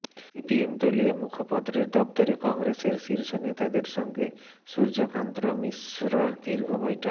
CPM দলীয় মুখপত্রের দফতরে কংগ্রেসের শীর্ষনেতাদের সঙ্গে সূর্যকান্ত মিশ্রর দীর্ঘ বৈঠক